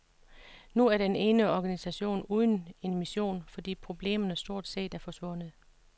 Nu er den en organisation uden en mission, fordi problemerne stort set er forsvundet.